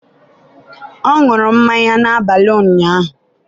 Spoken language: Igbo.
ọ ṅụrụ mmanya n'abalị ụnyaahụ?